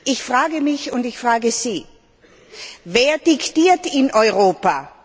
Ich frage mich und ich frage Sie Wer diktiert in Europa?